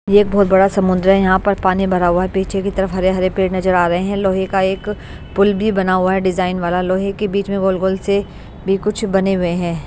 यह एक बहुत बड़ा समुद्र है यहाँ पर पानी भरा हुआ है पीछे की तरफ हरे-हरे पेड़ नजर आ रहे हैं लोहे का एक पुल भी बना हुआ है डिज़ाइन वाला लोहे के बीच में गोल-गोल से भी कुछ बने हुए हैं।